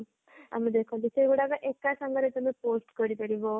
ଆମେ ଦେଖନ୍ତି ସେଇଗୁରକ ଏକ ସାଙ୍ଗରେ ତମେ post କରିପାରିବ